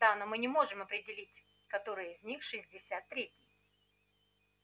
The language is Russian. да но мы не можем определить который из них шестьдесят три